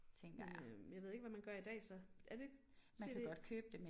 Men øh jeg ved ikke hvad man gør i dag så er det cd?